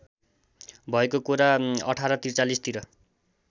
भएको कुरा १८४३ तिर